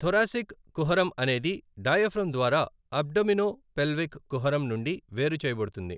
Thoracic కుహరం అనేది diaphragm ద్వారా అబ్డోమినోపెల్విక్ కుహరం నుండి వేరు చేయబడుతుంది.